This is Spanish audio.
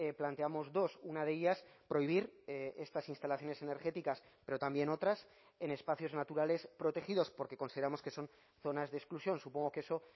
planteamos dos una de ellas prohibir estas instalaciones energéticas pero también otras en espacios naturales protegidos porque consideramos que son zonas de exclusión supongo que eso